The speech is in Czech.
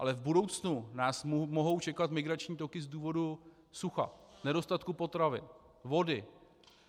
Ale v budoucnu nás mohou čekat migrační toky z důvodu sucha, nedostatku potravy, vody.